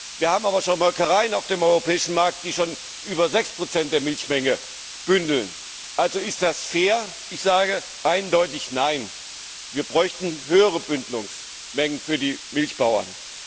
Wir haben aber schon Molkereien auf dem europäischen Markt, die schon über 6 der Milchmenge bündeln. Ist das fair? Ich sage eindeutig Nein. Wir bräuchten höhere Bündelungsmengen für die Milchbauern.